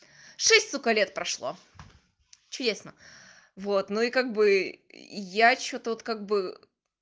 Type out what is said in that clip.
шесть сука сколько лет прошло чудесно вот ну и как бы я что-то вот как бы